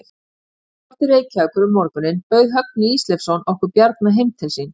Þegar komið var til Reykjavíkur um morguninn bauð Högni Ísleifsson okkur Bjarna heim til sín.